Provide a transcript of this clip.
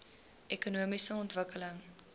ekonomiese ontwikkeling